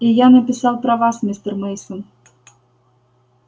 и я написал про вас мистер мейсон